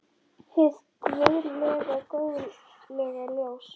Hið guðlega góðlega ljós.